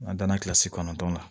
An danna kilasi kɔnɔntɔn na